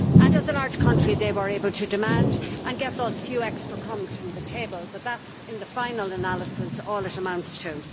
As a large country, it was able to demand and get those few extra crumbs from the table, but that, in the final analysis, is all it amounts to.